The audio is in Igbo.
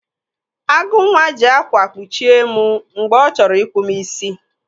Agụnwa ji ákwà kpuchie m mgbe ọ chọrọ ịkpụ m isi.